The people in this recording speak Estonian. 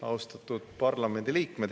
Austatud parlamendi liikmed!